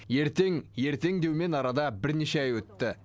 ертең ертең деумен арада бірнеше ай өтті